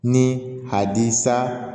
Ni a di sa